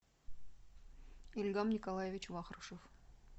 ильгам николаевич вахрушев